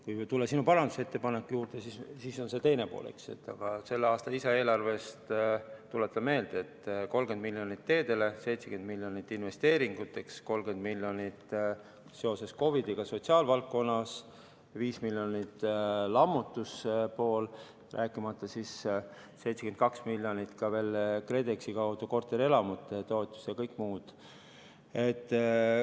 Kui tulla sinu parandusettepaneku juurde, siis see on teine pool, eks, aga selle aasta lisaeelarvest, tuletan meelde, et läks 30 miljonit teedele, 70 miljonit investeeringuteks, 30 miljonit seoses COVID-iga sotsiaalvaldkonnale, 5 miljonit lammutustoetuseks, rääkimata siis 72 miljonist ka veel KredExi kaudu korterelamute toetuseks ja kõik muudest toetussummadest.